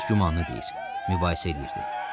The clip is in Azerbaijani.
Hərə öz gümanını deyir, mübahisə eləyirdi.